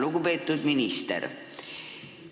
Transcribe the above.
Lugupeetud minister!